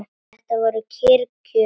Þetta voru kyrr kjör.